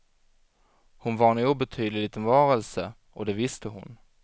Hon var en obetydlig liten varelse, och det visste hon.